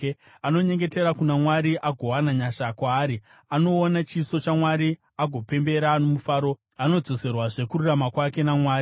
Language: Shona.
Anonyengetera kuna Mwari agowana nyasha kwaari, anoona chiso chaMwari agopembera nomufaro; anodzoserwazve kururama kwake naMwari.